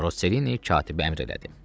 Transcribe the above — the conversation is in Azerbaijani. Roselini katibə əmr elədi.